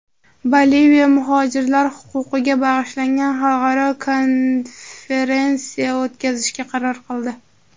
Boliviya muhojirlar huquqiga bag‘ishlangan xalqaro konferensiya o‘tkazishga qaror qildi.